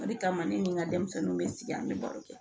O de kama ne ni n ka denmisɛnninw bɛ sigi an bɛ baro kɛ